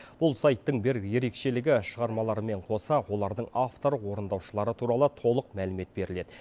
бұл сайттың бір ерекшелігі шығармалармен қоса олардың авторы орындаушылары туралы толық мәлімет беріледі